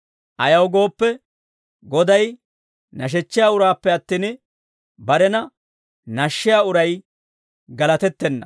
Ayaw gooppe, Goday nashshiyaa uraappe attin, barena nashshiyaa uray galatettenna.